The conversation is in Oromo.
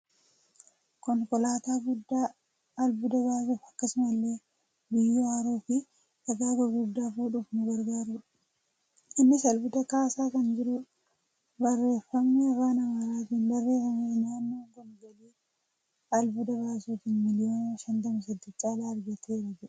Konkolaataa guddaa albuuda baasuuf akkasumallee biyyoo haruufi dhagaa gurguddaa fuudhuuf nu gargaarudha. Innis albuuda baasaa kan jirudha. Barreeffamni afaan amaaraatiin barreeffames naannoon kun galii albuuda baasuutiin miiliyoona 58 caalaa argateera jedha.